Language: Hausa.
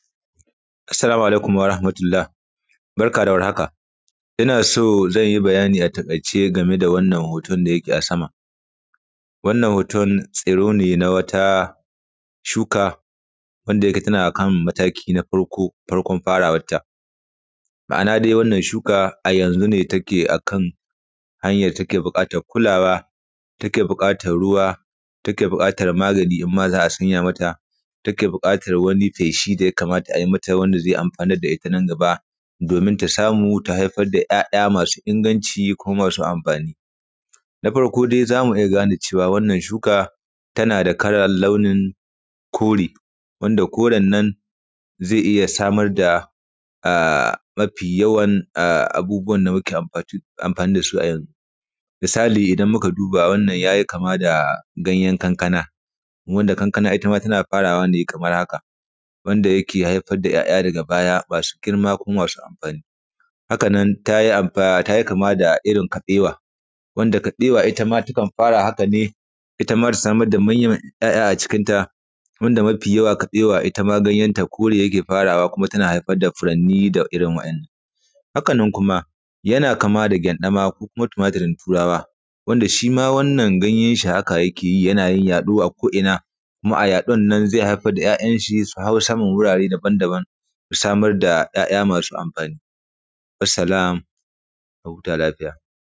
assalamu alaikum warahamatullah barka da warhaka innaso zanyi bayani a takaice gameda wannan hoton dayake a sama wannan hoton stiro ne na wata shuka wanda yake tana kan mataki na farko farkon farawar ta ma’ana dai wannan shuka a yanzu ne take akan hanyan da take bukatan kulawa take bukana ruwa take bukatar magani imam za’a sanya mata take bukatan wani feshi da ya kamata ay mata wanda zai amfanar da ita nan gabadomin ta samu ta haifar da ‘ya‘ya’ masu inganci kuma masu amfani na farko dai zamu iya gane cewa wannan shuka tanada kalan launin kore wanda koren nan zai iya samar da um mafi yawan um abubuwan da muke amfani dasu ayanzu misali idan muka duba wannan yayi maka da gayen kankana wanda kankana itama tana farawa ne kamar haka wanda yake haifar da ‘ya‘ya’ daga baya masu girma kuma masu amfani haka nan tayi ampa tayi kama da irin kabewa wanda kabewa ita ma takan fara haka ne itta ma ta samar da manya man ‘ya’ ya’ acikin ta wanda mafi yawa kabewa itama ganyen ta kore yake farawa kuma tana haifar da furanni da irrin wadannan hakanan kuma yana kama da gyandama ko kuma tumaturin turawa wanda shima wannan ganyenshi haka yakeyi yanyin yado a ko ina kuma a yadonnan zai haifar da ya yayenshi suhau sama daban daban su samar da ‘ya’ ya’ masu amfani wassalam a huta lafiya